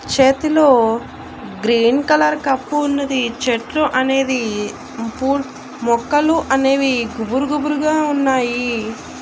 చేతిలో green colour cup ఉన్నది చెట్లు అనేది పూల్ మొక్కలు అనేవి గుబురు గుబురుగా ఉన్నాయి.